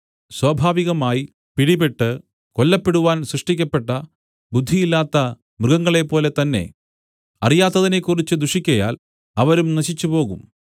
സ്വാഭാവികമായി പിടിപെട്ട് കൊല്ലപ്പെടുവാൻ സൃഷ്ടിക്കപ്പെട്ട ബുദ്ധിയില്ലാത്ത മൃഗങ്ങളെപ്പോലെതന്നെ അറിയാത്തതിനെക്കുറിച്ച് ദുഷിക്കയാൽ അവരും നശിച്ചുപോകും